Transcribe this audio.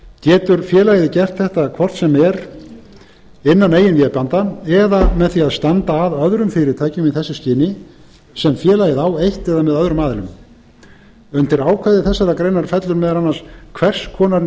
getur félagið gert þetta hvort sem er innan eigin vébanda eða með því að standa að öðrum fyrirtækjum í þessu skyni sem félagið á eitt eða með öðrum aðilum undir ákvæði þessarar greinar fellur meðal annars hvers konar